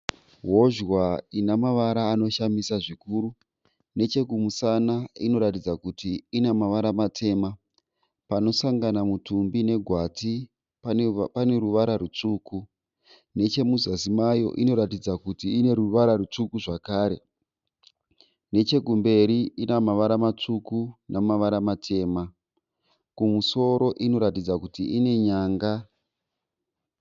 Hozhwa inemavara anoshamisa zvikuru. Nechekumusana inoratidza kuti inamavara matema. Panosangana mutumbi negwati paneruvara rwutsvuku. Nechemuzasi mayo inoratidza ruvara rwutsvuku zvakare . Nechekumberi inamavara matsvuku nemavara matema. Kumusoro inoratidza kuti ine nyanga.